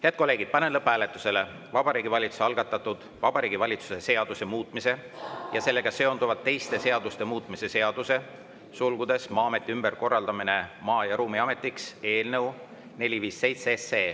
Head kolleegid, panen lõpphääletusele Vabariigi Valitsuse algatatud Vabariigi Valitsuse seaduse muutmise ja sellega seonduvalt teiste seaduste muutmise seaduse eelnõu 457.